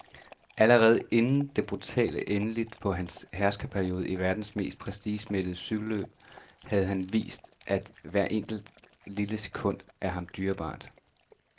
Allerede inden det brutale endeligt på hans herskerperiode i verdens mest prestigemættede cykelløb havde han vist, at hvert enkelt, lille sekund er ham dyrebart.